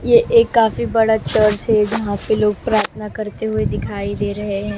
ये एक काफी बड़ा चर्च है जहां पे लोग प्रार्थना करते हुए दिखाई दे रहे हैं।